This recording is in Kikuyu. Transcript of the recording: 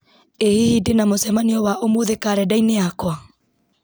ĩ hihi ndĩna mũcemanio wa ũmũthĩ karenda-inĩ yakwa